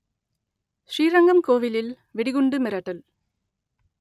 ஸ்ரீரங்கம் கோவிலில் வெடிகுண்டு மிரட்டல்